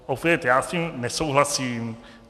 Opět, já s tím nesouhlasím.